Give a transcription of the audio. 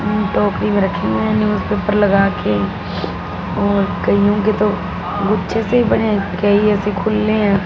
टोकरी में रखी है न्यूजपेपर लगा के और कईयों के तो गुच्छे से बने ऐसे खुले हैं।